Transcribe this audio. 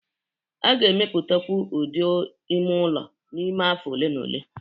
A ga-emepụtakwu ụdị ime ụlọ n'ime afọ ole na ole